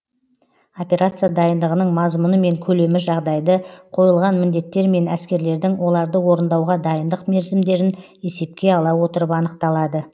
операция дайындығының мазмұны мен көлемі жағдайды қойылған міндеттер мен әскерлердің оларды орындауға дайындық мерзімдерін есепке ала отырып анықталады